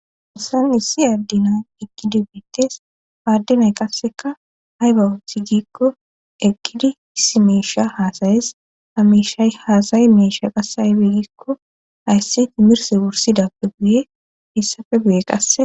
Hayssan issi adde nay eqidi betes paaddinay qasseka hayba uthi gikko eqqidi issi meesha haasayes hamiishay haasay meesha qasse haybe giikko haysse timirse wursidappe buye issafe buye qasse